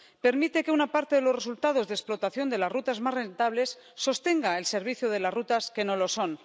Permite que una parte de los resultados de explotación de las rutas más rentables sostenga el servicio de las rutas que no lo son